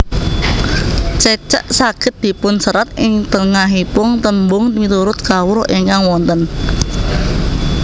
Cecek saged dipunserat ing tengahipung tembung miturut kawruh ingkang wonten